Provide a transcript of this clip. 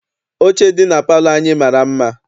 Oche dị na palọ anyị mara mma.